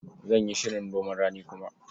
Zan yi shirin noman rani kuma.